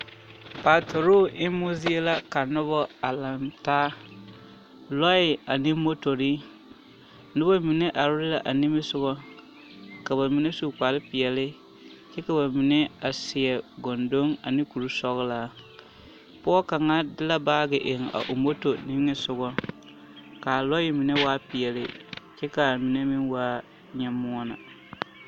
Noba la a ziŋ ka ba mine are yaga lɛ ka dɔɔ kaŋa gbe dumo pɔgɔ kaŋa nigeŋ ka daga a biŋ dɔɔ kaŋa puoriŋ kyɛ ka a dɔɔ kaŋa a are lere o nuuri kaa dɔɔ kaŋa meŋ are a vɔgle sapige kyɛ kyŋre ka ba su boŋ dɔglɔ kaa zie waa yɔɔvaare lɛ a yi yɔɔvaare.